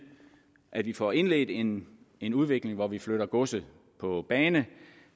at vi får indledt en en udvikling hvor vi flytter godset på bane